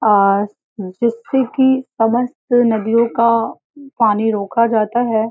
आ जिससे की समस्त नदियों का पानी रोका जाता है।